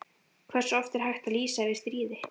Hversu oft er hægt að lýsa yfir stríði?